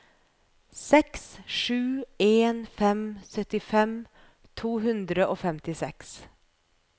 seks sju en fem syttifem to hundre og femtiseks